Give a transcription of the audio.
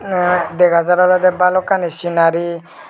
arow dega jar ole balokkani sinari.